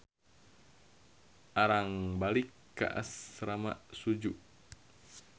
Arang balik ka asrama Suju.